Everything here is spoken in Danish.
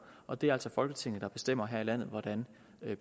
og det er altså folketinget der bestemmer her i landet hvordan